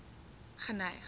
geneig